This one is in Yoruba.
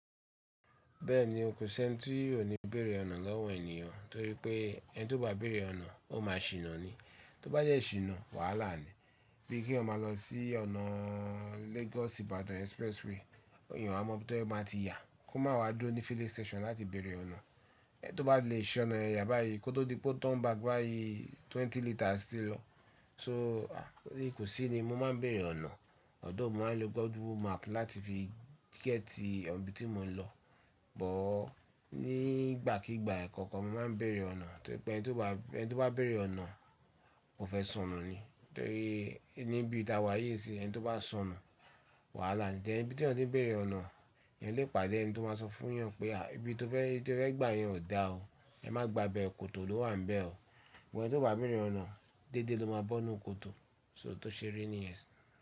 Bẹ́ẹ̀ni o, kò sí ẹni tí ó lè béèrè ọ̀nà lọ́wọ́ ènìyàn torí pé ẹni tí ó bá béèrè ọ̀nà ó máa ṣìná ni. Tó bá jẹ́ ṣìná, wàhálà ni. Bíi kí ọ máa lọ sí ọ̀nà Lagos Ibadan Expressway, ènìyàn a mọ̀ pé tó bá ma ti yà kó máa wá dúró ní filling station láti béèrè ọ̀nà. Ẹni tí ó bá lè ṣìná ẹ̀yà báyìí kó tó di pé o turn back báyìí twenty liters ti lọ. So, kò sí ni mo máa ń béèrè ọ̀nà. Goigke òún mo máa ń lo Google map láti fi gẹ́tì ibi tí mo ń lọ. Ṣùgbọ́n nígbàkígbà kankan mo máa ń béèrè ọ̀nà torí pé ẹni tí ó bá, ẹni tí ó bá béèrè ọ̀nà kò ẹ́ sọnù ni. Torí níbi tí a wá yi nsiiln ẹni tí ó bá sọnù, wàhálà ni. Then ibi t'eyẹni tí ó ń dé béèrè ọ̀nà, ènìyàn lè pàdé ẹni tí ó máa sọ fún yàn pé àyè ibi tí o fẹ́, ibi tí o fẹ́ gbà yẹn ò dá o. Ẹ má gba bẹ, kòtò ló wà níbẹ̀ o. Ẹni tí ó bá béèrè ọ̀nà dédé ló máa bọ́nu kòtò, so tò ṣe rí ni ẹsẹ̀.